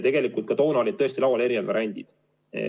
Tegelikult ka toona olid tõesti laual eri variandid.